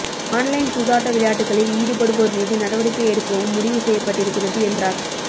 online சூதாட்ட விளையாட்டுகளில் ஈடுபடுவோர் மீது நடவடிக்கை எடுக்கவும் முடிவு செய்யப்பட்டிருக்கிறது என்றார்